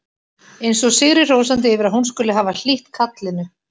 Eins og sigri hrósandi yfir að hún skuli hafa hlýtt kallinu.